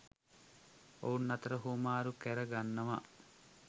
ඔවුන් අතර හුවමාරු කර ගන්නව